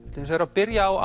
byrjum á